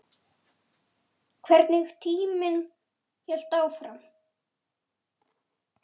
Hvernig tíminn hélt áfram.